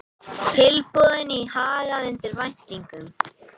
Tilboðin í Haga undir væntingum